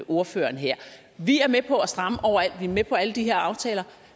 ordføreren her vi er med på at stramme overalt vi er med på alle de her aftaler